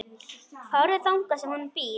Farðu þangað sem hún býr.